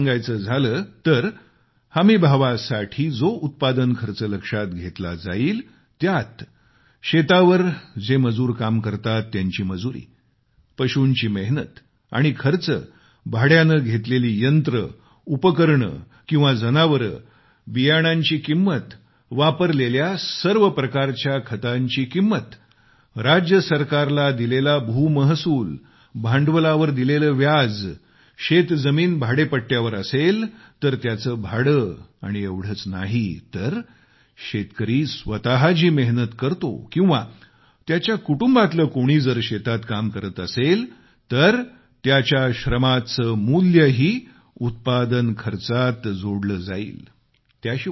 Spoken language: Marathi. सविस्तर सांगायचं झाल्यास हमीभावासाठी जो उत्पादन खर्च लक्षात घेतला जाईलत्यात शेतावर जे मजूर काम करतात त्यांची मजुरी पशूंची मेहनत आणि खर्च भाड्याने घेतलेली यंत्र उपकरणं किंवा जनावरं बियाणांची किंमत वापरलेल्या सर्व प्रकारच्या खतांची किंमत राज्य सरकारला दिलेला भू महसूल भांडवलावर दिलेले व्याज शेतजमीन भाडेपट्यावर असेल तर त्याचे भाडे आणि एवढेच नाही तर शेतकरी स्वतः जी मेहनत करतो किंवा त्याच्या कुटुंबातलं कोणी जर शेतात काम करत असेल तर त्याच्या श्रमाचे मूल्यही उत्पादन खर्चात जोडले जाईल